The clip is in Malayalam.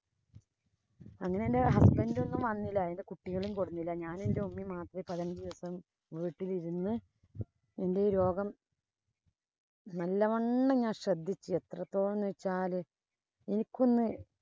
അങ്ങനെ എന്‍റെ husband ഒന്നും വന്നില്ല. കുട്ടികളേം കൊണ്ട് വന്നില്ല. ഞാനും. എന്‍റെ ഉമ്മയും മാത്രേ പതിനഞ്ചു ദിവസം വീട്ടിലിരുന്നു എന്‍റെ ഈ രോഗം നല്ലവണ്ണം ഞാന്‍ ശ്രദ്ധിച്ചു. എത്രത്തോളം എന്ന് വച്ചാല് എനിക്കൊന്നു